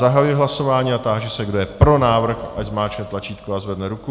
Zahajuji hlasování a táži se, kdo je pro návrh, ať zmáčkne tlačítko a zvedne ruku.